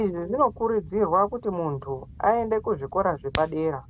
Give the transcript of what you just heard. Izvi zvino kurudzirwa kuti muntu aende kuzvikora zvepadera.